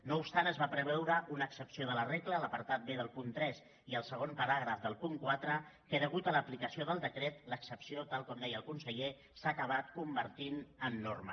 no obstant es va preveure una excepció de la regla l’apartat b del punt tres i el segon paràgraf del punt quatre que a causa de l’aplicació del decret l’excepció tal com de·ia el conseller s’ha acabat convertint en norma